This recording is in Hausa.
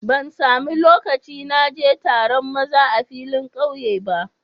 Ban samu loƙci na je taron maza a filin ƙauye ba.